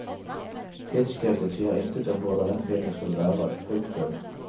Tidsskriftet sier intet om hvordan den filmen skal være. punktum